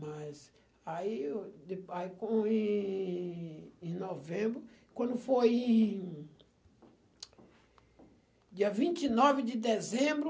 Mas aí, dê aí quando em em novembro, quando foi dia vinte e nove de dezembro